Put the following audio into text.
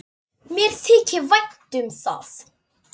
Mér þykir vænt um það.